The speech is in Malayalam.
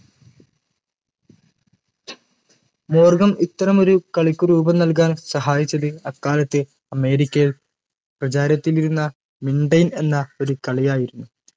മോർഗൻ ഇത്തരമൊരു കളിക്ക് രൂപം നൽകാൻ സഹായിച്ചത് അക്കാലത്തെ അമേരിക്കയിൽ പ്രചാരത്തിലിരുന്ന mintane എന്ന ഒരു കളിയായിരുന്നു